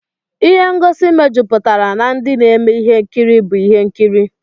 Ịhe ngosi mejuputara na ndị na-eme ihe nkiri bụ ihe nkiri.